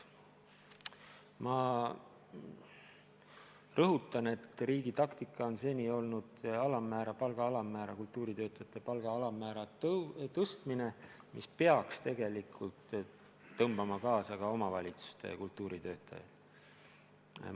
Ma rõhutan, et riigi taktika on seni olnud kultuuritöötajate palga alammäära tõstmine, mis peaks tegelikult kaasa tõmbama ka omavalitsuste kultuuritöötajate palgad.